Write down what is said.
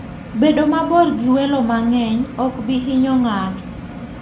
Bedo mabor gi welo mang'eny ok bi hinyo ng'ato.